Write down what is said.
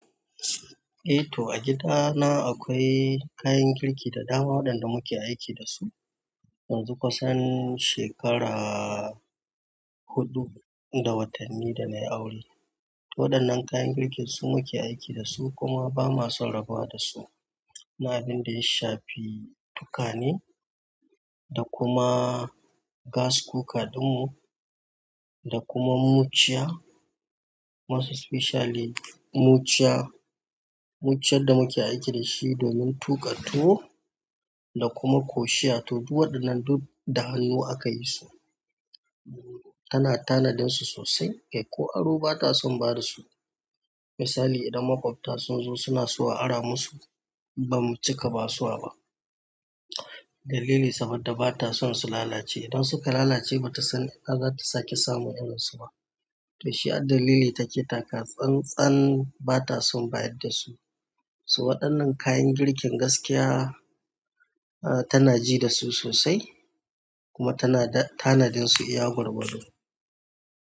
Eh to, a gidana akwai kayan girki da dama waɗanda muke aiki da su, yanzu kusan shekara huɗu da watanni da na yi aure. To waɗannan kayan girkin su muke aiki da su kuma ba ma son rabuwa da su. Na abun da ya shafi tukwane, da kuma gas cooker ɗin mu, da kuma muciya, most especially muciya, muciyar da muke aiki da shi domin tuƙa tuwo da kuma koshiya. To duk waɗannan duk da hannu aka yi su. Tana tanadin su sosai, ko aro ba ta son ba da su. Misali idan maƙwabta sun zo suna so a ara musu, ba mu cika ba su a ba. Dalili saboda ba ta son su lalace. Idan suka lalace ba ta san ta ina za ta sake samun irin su ba. To shi addalili take taka tsan-tsan ba ta son bayar da su. Waɗannan kayan girkin gaskiya tana ji da su sosai kuma ta na tanadin su iya gwargwado.